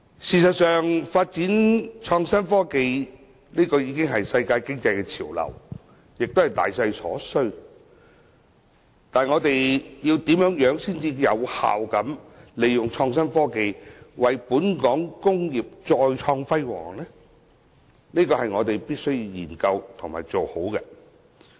事實上，發展創新科技已是世界經濟潮流，也是大勢所趨，但我們如何才可有效利用創新科技，為本港工業再創輝煌，這便是我們必須研究和做好的。